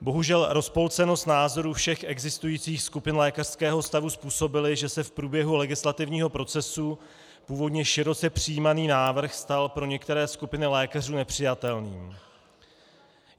Bohužel rozpolcenost názorů všech existujících skupin lékařského stavu způsobila, že se v průběhu legislativního procesu původně široce přijímaný návrh stal pro některé skupiny lékařů nepřijatelným.